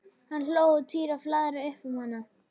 Hann hló og Týri flaðraði upp um hann.